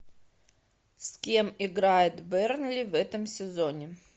с кем играет бернли в этом сезоне